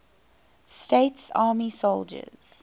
states army soldiers